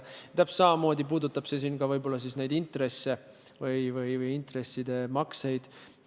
Täpselt samamoodi puudutab see võib-olla ka intresside makseid.